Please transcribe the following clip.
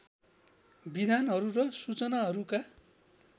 विधानहरू र सूचनाहरूका